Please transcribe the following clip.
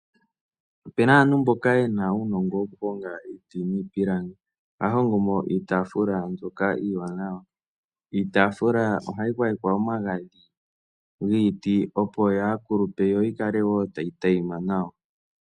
Opu na aantu mboka ye na uunongo wokuhonga iiti niipilangi ohaya hongo iitaafula mbyoka iiwanawa. Iitaafula ohayi gwayekwa omagadhi giiti opo yaa kulupe yoyi kale tayi tayima nawa.